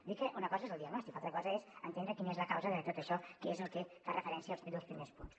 dir que una cosa és el diagnòstic l’altra cosa és entendre quina és la causa de tot això que és al que fan referència els dos primers punts